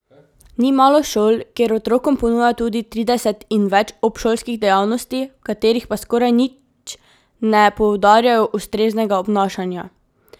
Ni malo šol, kjer otrokom ponujajo tudi trideset in več obšolskih dejavnosti, v katerih pa skoraj nič ne poudarjajo ustreznega obnašanja.